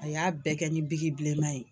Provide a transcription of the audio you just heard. A y'a bɛɛ kɛ ni bilenma ye.